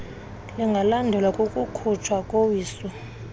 lingalandelwa kukukhutshwa kowiso